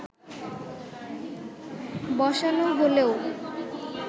বসানো হলেও